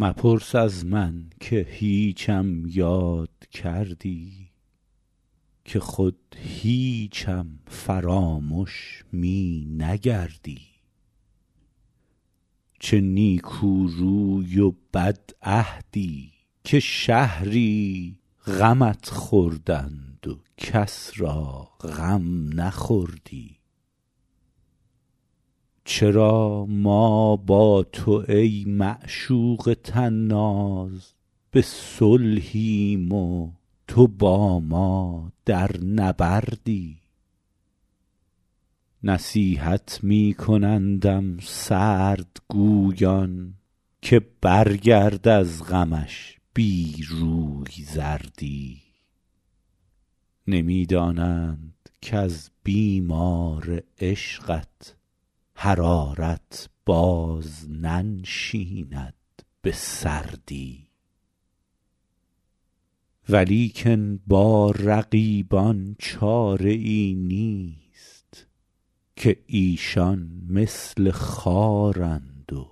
مپرس از من که هیچم یاد کردی که خود هیچم فرامش می نگردی چه نیکو روی و بدعهدی که شهری غمت خوردند و کس را غم نخوردی چرا ما با تو ای معشوق طناز به صلحیم و تو با ما در نبردی نصیحت می کنندم سردگویان که برگرد از غمش بی روی زردی نمی دانند کز بیمار عشقت حرارت باز ننشیند به سردی ولیکن با رقیبان چاره ای نیست که ایشان مثل خارند و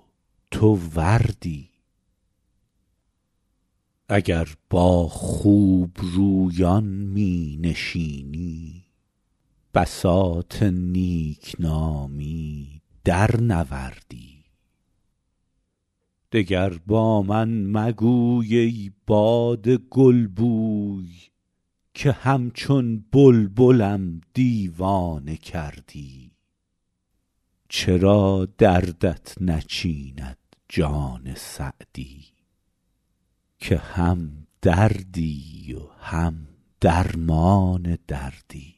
تو وردی اگر با خوبرویان می نشینی بساط نیک نامی درنوردی دگر با من مگوی ای باد گلبوی که همچون بلبلم دیوانه کردی چرا دردت نچیند جان سعدی که هم دردی و هم درمان دردی